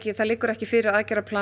það liggur ekki fyrir plan